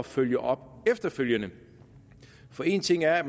følge op efterfølgende for en ting er at